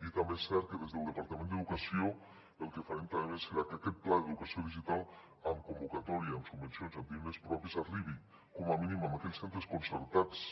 i també és cert que des del departament d’educació el que farem també serà que aquest pla d’educació digital amb convocatòria amb subvencions i amb diners propis arribi com a mínim a aquells centres concertats